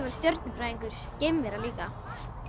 stjörnu fræðingur geimvera líka